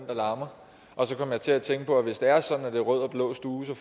der larmer og hvis det er sådan at det er rød og blå stue